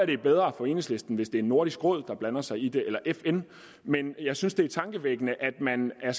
det er bedre for enhedslisten hvis det er nordisk råd der blander sig i det eller fn men jeg synes det er tankevækkende at man er